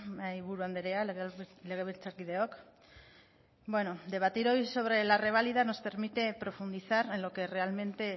mahaiburu andrea legebiltzarkideok bueno debatir hoy sobra la reválida nos permite profundizar en lo que realmente